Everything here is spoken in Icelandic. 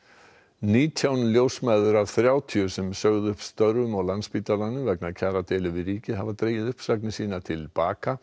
nítján ljósmæður af þrjátíu sem sögðu upp störfum á Landspítalanum vegna kjaradeilu við ríkið hafa dregið uppsagnir sínar til baka